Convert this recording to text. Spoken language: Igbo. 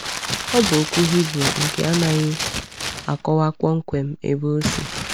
Ọ bụ okwu Hibru nke anaghị akọwa kpọmkwem ebe ọ si.